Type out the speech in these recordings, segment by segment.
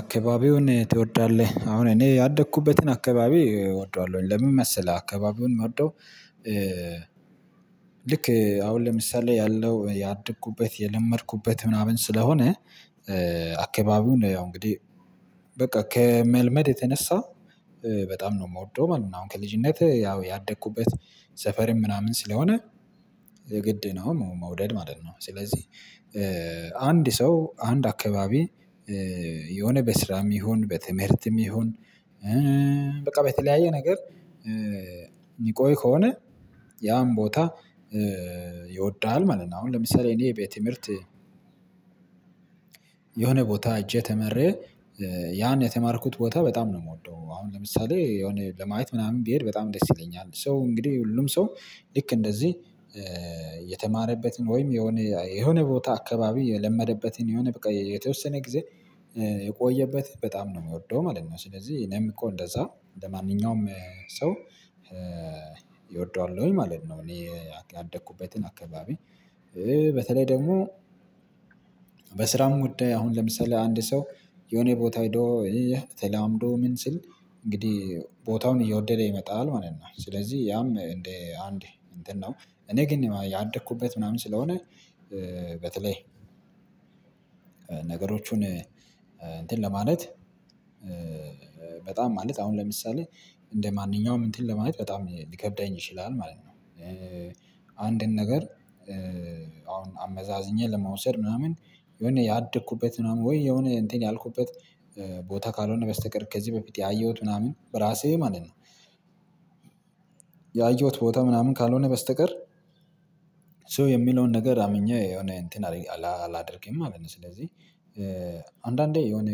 አካባቢውን ትወዳለህ አሁን እኔ ያደኩበትን አካባቢ እወደዋለሁኝ ለምን መሰለህ አካባቢውን የምወደው ልክ አሁን ለምሳሌ ያለው ያደኩበት የለመድኩበት ምናምን ስለሆነ አካባቢው ነው ያው እንግዲህ በቃ ከመልመድ የተነሳ በጣም ነው የምወደው ማለት ነው። አሁን ከልጅነትህ ያው ያደኩበት ሰፈርም ምናምን ስለሆነ ግድ ነው መውደድ ማለት ነው ስለዚህ አንድ ሰው አንድ አካባቢ የሆነ በስራም ይሁን በትምህርትም ይሁን በቃ በተለያየ ነገር የሚቆይ ከሆነ ያን ቦታ ይወደዋል ማለት ነው። አሁን ለምሳሌ እኔ የቤት ትምህርት የሆነ ቦታ ህጄ ተሚረ ያን የተማርኩበት ቦታ በጣም ነው የምወደው። አሁን ለምሳሌ የሆነ ለማየት ምናምን ቢሄድ በጣም ደስ ይለኛል ሰው እንግዲህ ሁሉም ሰው ልክ እንደዚህ የተማረበትን ወይም የሆነ የሆነ ቦታ አካባቢ የለመደበትን የሆነ በቃ የተወሰነ ጊዜ የቆየበት በጣም ነው የሚወደው ማለት ነው። ስለዚህ እኔም እኮ እንደዛ ለማንኛውም ሰው እወደዋለሁኝ ማለት ነው። እኔ ያደኩበትን አካባቢ በተለይ ደግሞ በስራም ጉዳይ አሁን ለምሰሌ አንድ ሰው የሆነ ቦታ ሄዶ ተላምዶ ምን ስል እንግዲህ ቦታውን እየወደደው ይመጣል ማለት ነው። ስለዚህ ያም እንደ አንድ እንትን ነው እኔ ግን ያንደኩበት ምናምን ስለሆነ በተለይ ነገሮቹን እንትን ለማለት በጣም ማለት አሁን ለምሳሌ እንደማንኛውም እንትን ለማለት በጣም ሊከብደኝ ይችላል ማለት ነው። አንድን ነገር አሁን አመዛዝኜ ለመውሰድ ምናምን የሆነ ያደኩበት ምናምን ወይ የሆነ እንትን ያልኩበት ቦታ ካልሆነ በስተቀር ከዚህ በፊት ያየሁት ምናምን በራሴ ማለት ነው ያየሁት ቦታ ምናምን ካልሆነ በስተቀር ሶ የሚለውን ነገር አምኜ የሆነ እንትን አላደርግም ማለት ነው። ስለዚህ አንዳንዴ የሆነ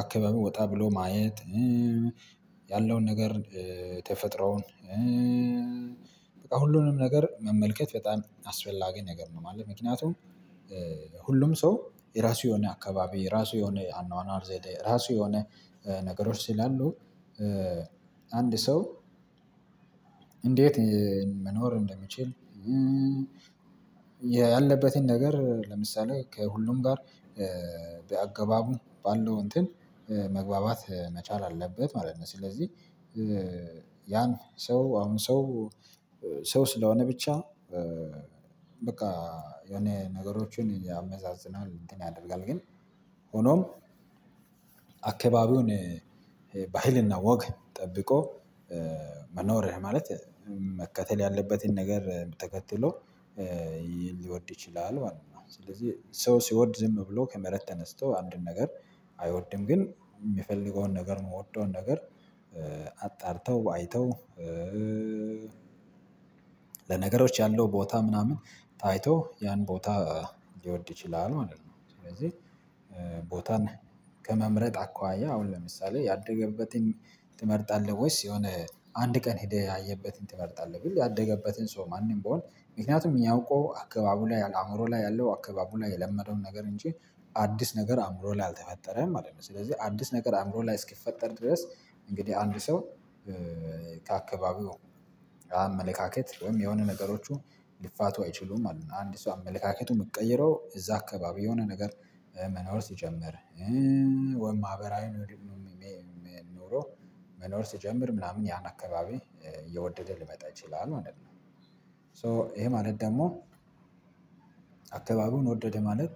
አከባቢ ወጣ ብሎ ማየት ያለውን ነገር ተፈጥሮን በቃ ሁሉንም ነገር መመልከት በጣም አስፈላጊ ነገር ነው ማለት ነው። ምክንያቱም ሁሉም ሰው የራሱ የሆነ አካባቢ የራሱ የሆነ አኗኗር ዘዴ የራሱ የሆነ ነገሮች ሲላሉ አንድ ሰው እንዴት መኖር እንደምችል ያለበትን ነገር ለምሳሌ ከሁሉም ጋር በአገባቡ ባለው እንትን መግባባት መቻል አለበት ማለት ነው። ስለዚህ ያን ሰው አሁን ሰው ሰው ስለሆነ ብቻ በቃ የሆነ ነገሮችን ያመዛዝናል እንትን ያደርጋል ግን ሆኖም አካባቢውን በህልና ወገን ጠብቆ መኖርህ ማለት መከተል ያለበትን ነገር ተከትሎ ሊወድ ይችላል ማለት ነው። ስለዚህ ሰው ሲወድ ዝም ብሎ ከመሬት ተነስቶ አንድን ነገር አይወድም ግን የሚፈልገውን ነገር የምወደውን ነገር አጣርተው አይተው ለነገሮች ያለው ቦታ ምናምን ታይቶ ያን ቦታ ሊወድ ይችላል ማለት ነው። ስለዚህ ቦታን ከመምረጥ አኳያ አሁን ለምሳሌ ያደገበትን ትመርጣለህ ወይስ የሆነ አንድ ቀን ሄደህ ያየበትን ትመርጣለህ ብዬ ያደገበትን ሰው ማንም ብሆን ምክንያቱም እኛ አውቆ አካባቡ ላይ አእምሮ ላይ ያለው አካባቡ ላይ የለመደውን ነገር እንጂ አዲስ ነገር አእምሮ ላይ አልተፈጠረም ማለት ነው። ስለዚህ አዲስ ነገር አእምሮ ላይ እስኪፈጠር ድረስ እንግዲህ አንድ ሰው ከአካባቢው አመለካከት ወይም የሆነ ነገሮቹ ሊፋቱ አይችሉም አሉ እና አንድ ሰው አመለካከቱን የምትቀይረው እዛ አካባቢ የሆነ ነገር መኖር ሲጀምር ወይም ማህበራዊ ነው የሚል ኖሮ መኖር ስጀምር ምናምን ያን አካባቢ እየወደደ ልመጣ ይችላል ማለት ነው። ሶ ይሄ ማለት ደግሞ አካባቢውን ወደደ ማለት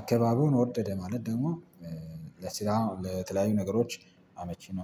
አካባቡን ወደደ ማለት። ደግሞ ለስራ ለተለያዩ ነገሮች አመቺ ነው